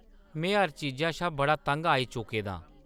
में हर चीजा शा बड़ा तंग आई चुके दा आं।